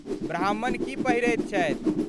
ब्राह्मण की पहिरैत छथि?